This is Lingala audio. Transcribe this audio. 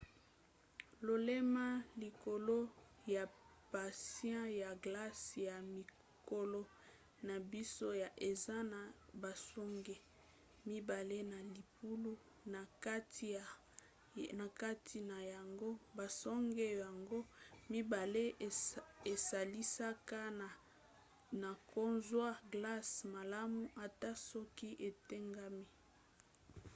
lolemo likolo ya patin ya glace ya mikolo na biso yo eza na basonge mibale na libulu na kati na yango. basonge nyonso mibale esalisaka na kozwa glace malamu ata soki etengami